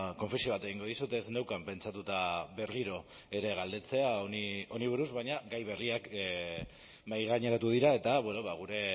konfesio bat egingo dizut ez neukan pentsatuta berriro ere galdetzea honi buruz baina gai berriak mahaigaineratu dira eta gure